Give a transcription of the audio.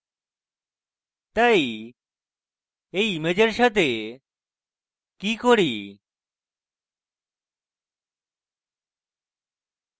তাই এই ইমেজের সাথে কি করি